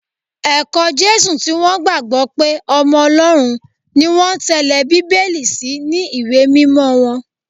Ẹ̀kọ́ Jésù tí wọ́n gbàgbọ́ pé ọmọ Ọlọ́run ni wọ́n ń tẹ́lé Bíbélì sì ni ìwé mímọ wọn